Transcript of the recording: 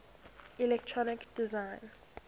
electronic design